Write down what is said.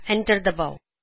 enter ਦਬਾਓ